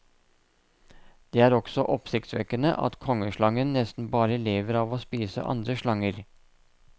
Det er også oppsiktsvekkende at kongeslangen nesten bare lever av å spise andre slanger.